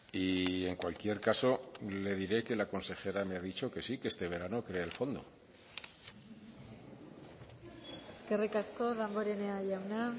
y en cualquier caso le diré que la consejera me ha dicho que sí que este verano crea el fondo eskerrik asko damborenea jauna